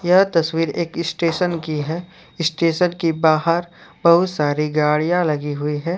यह तस्वीर एक स्टेशन की है स्टेशन के बाहर बहुत सारी गाड़ियां लगी हुई है।